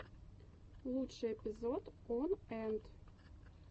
лучший эпизод он энт